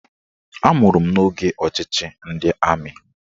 Amụrụ m n'oge ọchịchị ndị amị